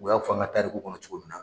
U y'a dugu kɔnɔ cogo min na